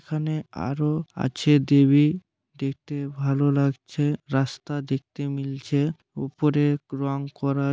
এখানে আরও আছে দেবী দেখতে ভালো লাগছে। রাস্তা দেখতে মিলছে ওপরে রং করা।